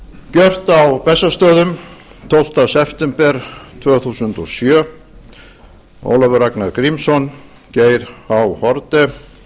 gjört á bessastöðum tólfta september tvö þúsund og sjö ólafur ragnar grímsson geir h